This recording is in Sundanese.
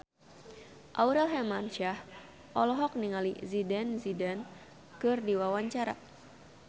Aurel Hermansyah olohok ningali Zidane Zidane keur diwawancara